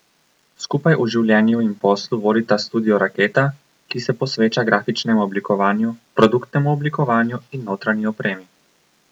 Skupaj v življenju in poslu vodita studio Raketa, ki se posveča grafičnemu oblikovanju, produktnemu oblikovanju in notranji opremi.